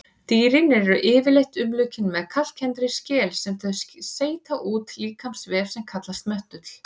Dýrin eru yfirleitt umlukin með kalkkenndri skel sem þau seyta úr líkamsvef sem kallast möttull.